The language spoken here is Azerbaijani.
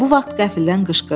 Bu vaxt qəfildən qışqırdı.